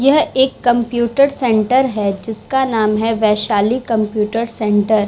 यह एक computer centre है जिसका नाम है वैशाली कंप्यूटर सेण्टर ।